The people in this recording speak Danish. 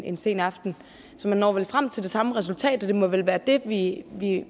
en sen aften man når vel frem til det samme resultat og det må vel være det vi